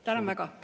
Tänan väga!